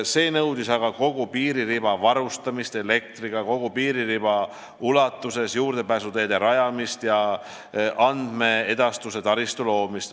See oleks aga nõudnud kogu piiririba varustamist elektriga, kogu piiririba ulatuses juurdepääsuteede rajamist ja andmeedastuse taristu loomist.